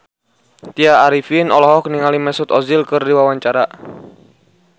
Tya Arifin olohok ningali Mesut Ozil keur diwawancara